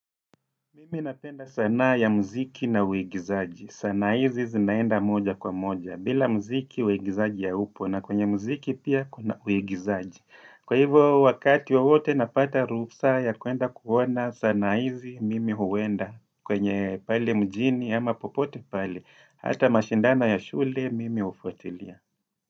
Mimi napenda sanaa ya muziki na uigizaji. Sanaa hizi zinaenda moja kwa moja. Bila mziki uigizaji haupo na kwenye mziki pia kuna uigizaji. Kwa hivyo wakati wowote napata ruhusa ya kuenda kuona sanaa hizi mimi huenda. Kwenye pale mjini ama popote pale. Hata mashindano ya shule mimi hufuatilia.